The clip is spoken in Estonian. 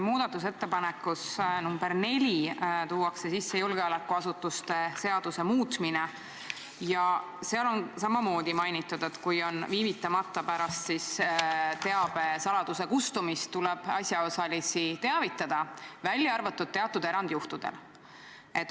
Muudatusettepanekus nr 4 tuuakse sisse julgeolekuasutuste seaduse muutmine ja seal on samamoodi mainitud, et viivitamata pärast teabe salastatuse kustumist tuleb asjaosalisi teavitada, välja arvatud teatud erandjuhtudel.